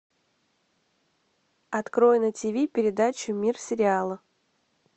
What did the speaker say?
открой на тв передачу мир сериала